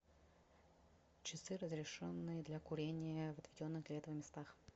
часы разрешенные для курения в отведенных для этого местах